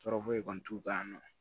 Tɔɔrɔ foyi kɔni t'u kan nɔ